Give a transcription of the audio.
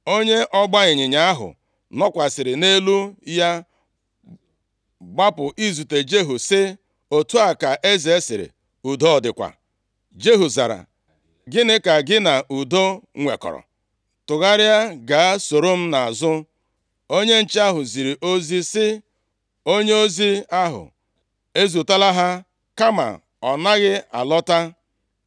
Onye ọgbaịnyịnya ahụ nọkwasịrị nʼelu ya gbapụ izute Jehu, sị, “Otu a ka eze sịrị, ‘Udo ọ dịkwa?’ ” Jehu zara, “Gịnị ka gị na udo nwekọrọ? Tụgharịa gaa soro m nʼazụ.” Onye nche ahụ ziri ozi sị, “Onyeozi ahụ ezutela ha, kama ọ naghị alọta.”